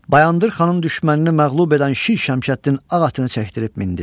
Bayandır xanın düşmənini məğlub edən Şir Şəmşəddin ağ atını çəkdirib mindi.